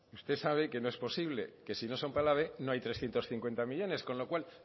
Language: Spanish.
usted sabe que no es posible que si no son para el ave no hay trescientos cincuenta millónes con lo cual